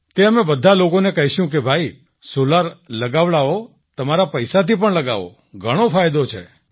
તે અમે બધા લોકોને કહીશું કે ભાઈ સૉલાર લગાવડાઓ તમારા પૈસાથી પણ લગાવો ઘણો ફાયદો છે